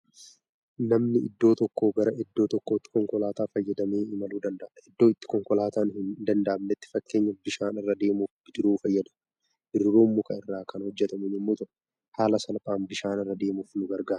Namni iddoo tokkoo gara iddoo tokkootti konkolaataa fayyadamee imaluu danda'a. Iddoo itti konkolaataan hin danda'amnetti, fakkeenyaaf bishaan irra deemuuf bidiruu fayyadamu. Bidiruun muka irraa kan hojjetamu yommuu ta'u, haala salphaan bishaan irra deemuuf nu gargaara.